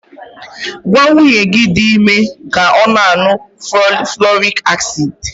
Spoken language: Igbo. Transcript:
Gwa nwunye gi di ime ka ọ na-aṅụ fọlịk asid!